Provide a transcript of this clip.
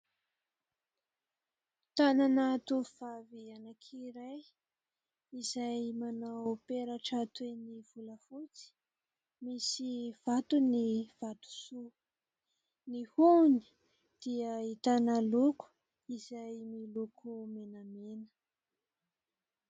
Tanana tovavy anankiray izay manao peratra toy ny volafotsy misy vatony vatosoa. Ny hohony dia ahitana loko izay miloko menamena.